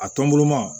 A tɔnbulu ma